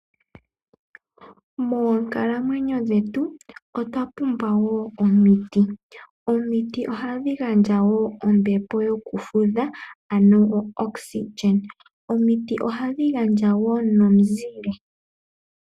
Moonkalamwenyo dhetu otwa pumbwa wo omiti. Omiti ohadhi gandja wo ombepo yokufudha ano oxygen, omiti ohadhi gandja wo nomizile.